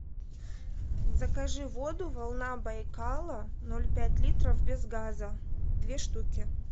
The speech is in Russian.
закажи воду волна байкала ноль пять литров без газа две штуки